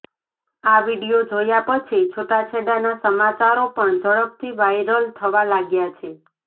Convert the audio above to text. આ વિડીયો જોયા પછી છૂટાછેડાના સમાચારો પણ ઝડપથી વાયરલ થવા લાગ્યા છે